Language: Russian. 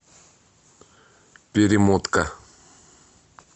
перемотка